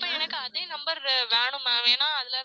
இப்ப எனக்கு அதே number வேணும் ma'am ஏனா அதுல